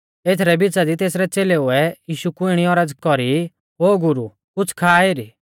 एथरै बिच़ा दी तेसरै च़ेलेऊ ऐ यीशु कु इणी औरज़ कौरी ओ गुरु कुछ़ खा एरी